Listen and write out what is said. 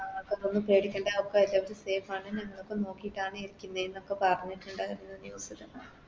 ആ ഒന്നും പേടിക്കണ്ട അതൊക്കെ Safe ആണ് ഞങ്ങളൊക്കെ നോക്കിട്ടാണ് ഇരിക്കുന്നെന്നൊക്കെ പറഞ്ഞിട്ടുണ്ടാരുന്നു News ല്